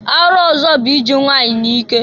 Arụ ọzọ bụ iji nwanyị n'ike.